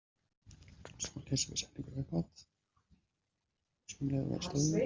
Appelsínuey er í fljótinu beint á móti borginni.